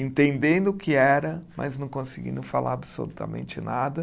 Entendendo o que era, mas não conseguindo falar absolutamente nada.